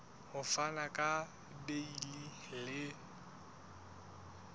ho fana ka beile le